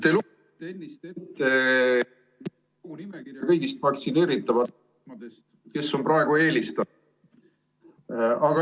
Te lugesite ennist ette nimekirja kõigist vaktsineeritavatest, kes on praegu eelistatud.